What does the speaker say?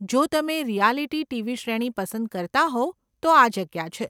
જો તમે reality TV શ્રેણી પસંદ કરતાં હોવ તો આ જગ્યા છે.